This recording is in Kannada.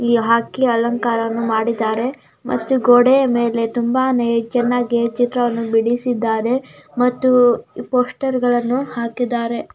ಇ ಹಾಕಿ ಅಲಂಕಾರವನ್ನಾ ಮಾಡ್ದಿದರೆ ಮತ್ತು ಗೋಡೆಯ ಮೇಲೆ ತುಂಬಾನೇ ಚೆನ್ನಾಗಿ ಚಿತ್ರವಣ್ಣ ಬಿಡಿಸಿದ್ದಾರೆ ಮತ್ತು ಪೋಸ್ಟರ್ಗಳ್ಳನ್ನು ಹಾಕಿದ್ದಾರೆ .